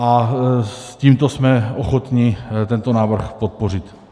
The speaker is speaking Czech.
A s tímto jsme ochotni tento návrh podpořit.